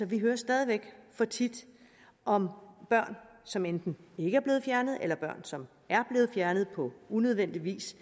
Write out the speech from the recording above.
vi hører stadig væk for tit om børn som enten ikke er blevet fjernet eller børn som er blevet fjernet på unødvendig vis